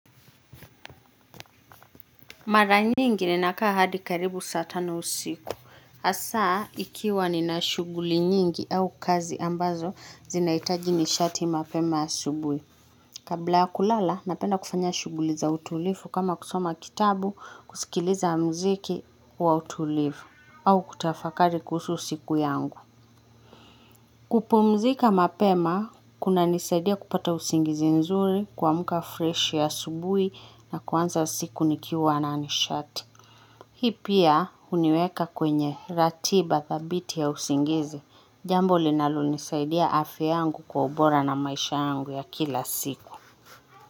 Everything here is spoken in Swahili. Mara nyingi ninakaa hadi karibu saa tano usiku. Hasaa, ikiwa nina shughuli nyingi au kazi ambazo zinaitaji nishati mapema asubuhi. Kabla ya kulala, napenda kufanya shughuli za utulivu kama kusoma kitabu, kusikiliza mziki wa utulivu, au kutafakari kuhusu siku yangu. Kupumzika mapema, kunanisaidia kupata usingizi nzuri kuamka fresh asubuhi na kuanza siku nikiwa na nishati. Hii pia huniweka kwenye ratiba thabiti ya usingizi, jambo linalonisaidia afya yangu kwa ubora na maisha yangu ya kila siku.